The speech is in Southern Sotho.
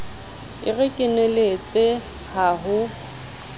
e re keneletse ha ho